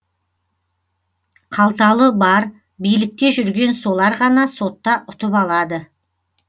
қалталы бар билікте жүрген солар ғана сотта ұтып алады